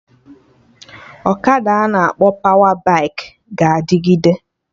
Ọkada ana akpọ pawa baikị ga-adịgide